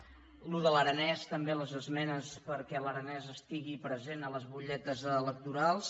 això de l’aranès també les esmenes perquè l’aranès estigui present a les butlletes electorals